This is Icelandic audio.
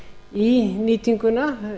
í nýtinguna